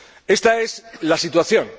Esta es la situación.